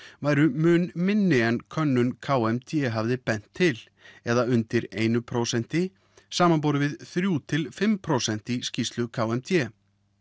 væru mun minni en könnun k m d hafði bent til eða undir einu prósenti samaborið við þrjár til fimm prósent í skýrslu k m d